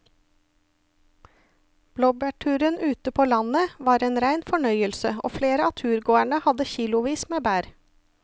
Blåbærturen ute på landet var en rein fornøyelse og flere av turgåerene hadde kilosvis med bær.